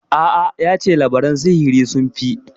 A'a, ya ce labaran sihiri sun fi.